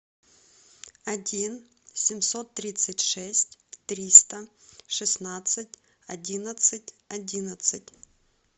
один семьсот тридцать шесть триста шестнадцать одиннадцать одиннадцать